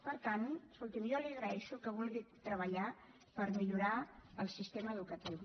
per tant escolti’m jo li agraeixo que vulgui treballar per millorar el sistema educatiu